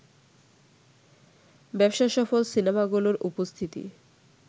ব্যবসাসফল সিনেমাগুলোর উপস্থিতি